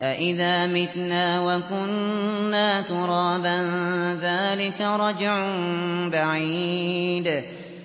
أَإِذَا مِتْنَا وَكُنَّا تُرَابًا ۖ ذَٰلِكَ رَجْعٌ بَعِيدٌ